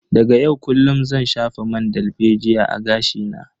Daga yau kullun zan shafa man dalbejiya a gashi na.